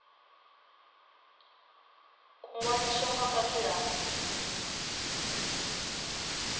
u ṅwaliswa nga fhasi ha